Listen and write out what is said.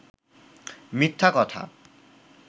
মিথ্যা কথা